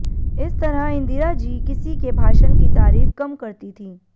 इस तरह इंदिरा जी किसी के भाषण की तारीफ कम करती थीं